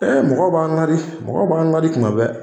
Ɛɛ mɔgɔ b'an ladi mɔgɔ b'an ladi tuma bɛɛ